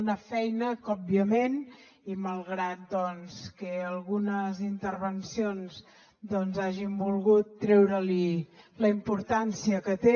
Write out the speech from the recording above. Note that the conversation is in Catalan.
una feina que òbviament i malgrat que algunes intervencions doncs hagin volgut treure li la importància que té